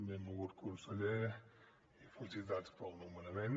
benvolgut conseller felicitats pel nomenament